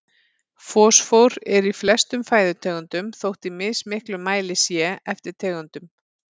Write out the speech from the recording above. Fosfór er í flestum fæðutegundum þótt í mismiklum mæli sé eftir tegundum.